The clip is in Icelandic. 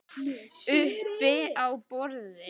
Uppi á borði?